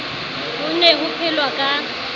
ho ne ho phelwa ka